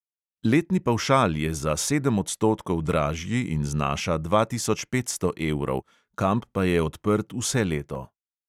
Letni pavšal je za sedem odstotkov dražji in znaša dva tisoč petsto evrov, kamp pa je odprt vse leto.